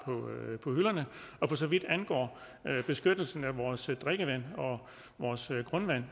på hylderne for så vidt angår beskyttelsen af vores drikkevand og vores grundvand